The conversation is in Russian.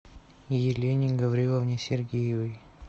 елене гавриловне сергеевой